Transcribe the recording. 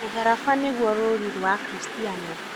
Mũtharaba nĩguo rũũri rwa akristiano.